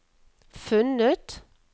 funnet